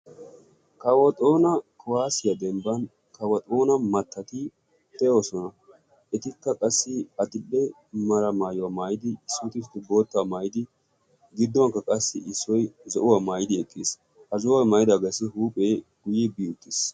Kawo xoona kuwaasiyaa dembban kawo xoona mattati de'oosona. etikka qassi adile mera maayuwaa mayidi boottaa maayidi gidduwankka qassi issoy zo'uwaa maayidi eqqiis. ha zo'uwaa maayidaagassi huuphphee guye bi uttiis.